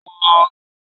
Aṣọ ológun náà rẹwà